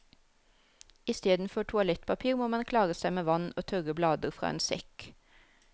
Isteden for toalettpapir må man klare seg med vann og tørre blader fra en sekk.